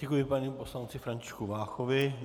Děkuji panu poslanci Františku Váchovi.